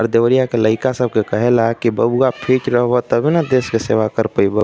देवरिया के लइका सब के कहेला की बबुआ फिट रह ब तबे न देश के सेवा कर पइ बअ।